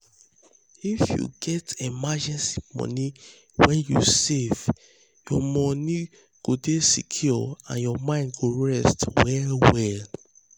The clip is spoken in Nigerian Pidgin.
if you get emergency money wey you save your money go dey secure and your mind go rest well well.